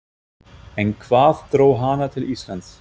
En hvað dró hana til Íslands?